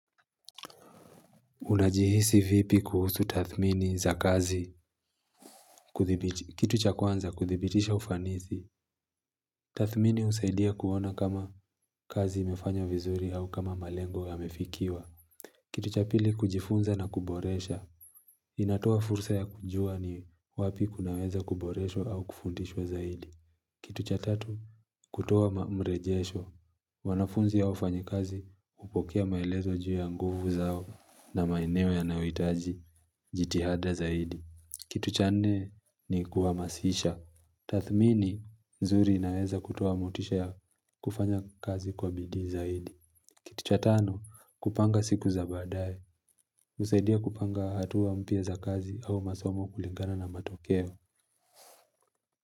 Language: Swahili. Unajihisi vipi kuhusu tathmini za kazi Kitu cha kwanza kudhibitisha ufanisi Tathmini husaidia kuona kama kazi imefanywa vizuri au kama malengo yamefikiwa Kitu cha pili kujifunza na kuboresha inatoa fursa ya kujua ni wapi kunaweza kuboreshwa au kufundishwa zaidi Kitu cha tatu kutoa mamrejesho wanafunzi ya wafanyikazi hupokea maelezo juu ya nguvu zao na maeneo yanayohitaji jitihada zaidi Kitu cha nne ni kuhamasisha Tathmini zuri inaweza kutoa motisha ya kufanya kazi kwa bidii zaidi Kitu cha tano kupanga siku za baadaye husaidia kupanga hatua mpya za kazi au masomo kulingana na matokeo.